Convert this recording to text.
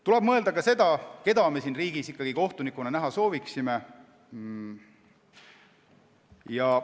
Tuleb mõelda ka sellele, keda me siin riigis ikkagi kohtunikuna näha soovime.